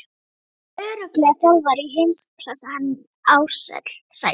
Hann er örugglega þjálfari í heimsklassa hann Ársæll.